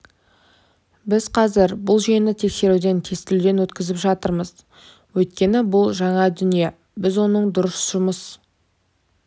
біз қазір бұл жүйені тексеруден тестілеуден өткізіп жатырмыз өйткені бұл жаңа дүние біз оның дұрыс жұмыс